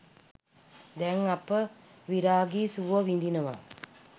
දැන් අප විරාගී සුව විඳිනවා